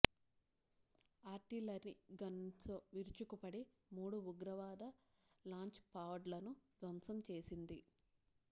artillery గన్స్తో విరుచుకుపడి మూడు ఉగ్రవాద లాంచ్ పాడ్లను ధ్వంసం చేసింది